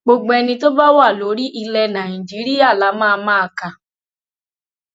gbogbo ẹni tó bá wà lórí ilẹ nàìjíríà la máa máa kà